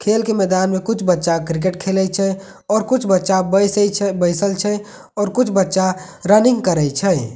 खेल के मैदान में कुछ बच्चा क्रिकेट खेलए छै और कुछ बच्चा बैसे छे बइसल छै और कुछ बच्चा रनिंग करय छै।